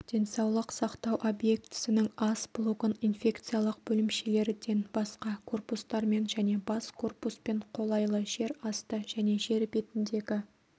денсаулық сақтау объектісінің ас блогын инфекциялық бөлімшелерден басқа корпустармен және бас корпуспен қолайлы жер асты және жер бетіндегі